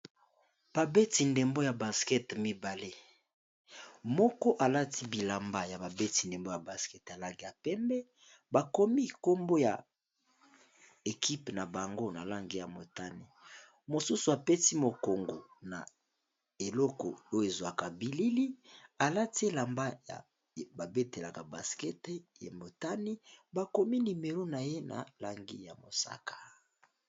Ba beti ndebo ya basket mibale Moko Alati bilanba yaba beti ya basket ya Langi ya pembe bakomi combo ya mwindu